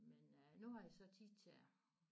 Men øh nu har jeg så tid til det